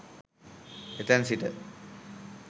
එතැන් සිට